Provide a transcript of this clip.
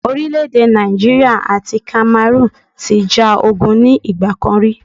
Orílẹ̀ èdè Nàìjíríà àti Cameroon ti ja ogun ní ìgbà kan ri